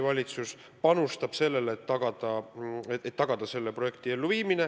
Valitsus panustab sellesse.